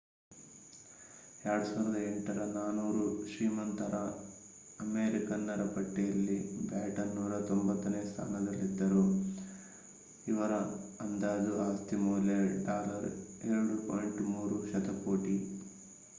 2008ರ 400 ಶ್ರೀಮಂತ ಅಮೆರಿಕನ್ನರ ಪಟ್ಟಿಯಲ್ಲಿ ಬ್ಯಾಟನ್ 190 ನೇ ಸ್ಥಾನದಲ್ಲಿದ್ದರು ಇವರ ಅಂದಾಜು ಆಸ್ತಿ ಮೌಲ್ಯ $ 2.3 ಶತಕೋಟಿ